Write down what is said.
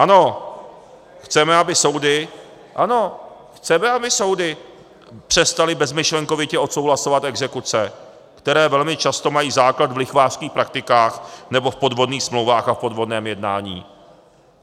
Ano, chceme, aby soudy přestaly bezmyšlenkovitě odsouhlasovat exekuce, které velmi často mají základ v lichvářských praktikách nebo v podvodných smlouvách a v podvodném jednání.